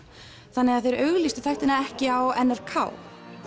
þannig að þeir auglýstu þættina ekki á n r k